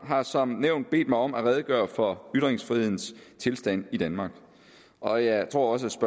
har som nævnt bedt mig om at redegøre for ytringsfrihedens tilstand i danmark og jeg tror også